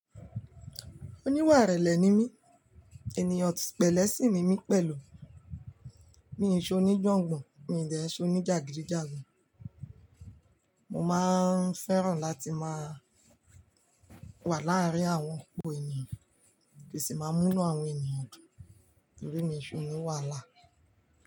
Oníwàrẹ̀lẹ̀ ni mí, ènìyàn pẹ̀lẹ́ sì ni mí pẹ̀lú. Mi ò ṣe oníjàngbọn, mi ò dẹ̀ ṣe oníjàgídíjàgan. Mo máa ń fẹ́ràn láti máa wà láàárín àwọn opo ènìyàn kí sì máa múnú àwọn ènìyàn dùn, torí mi ṣe oníwàhálà.